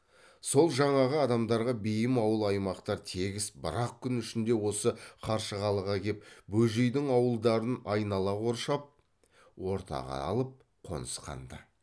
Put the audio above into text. сол жаңағы адамдарға бейім ауыл аймақтар тегіс бір ақ күн ішінде осы қаршығалыға кеп бөжейдің ауылдарын айнала қоршал ортаға алып қонысқан ды